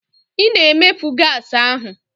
Ị na-emefu gaasị ahụ.